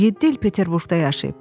Yeddi il Peterburqda yaşayıb.